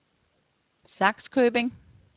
Sakskøbing